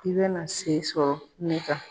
I bɛna se sɔrɔ ne kan.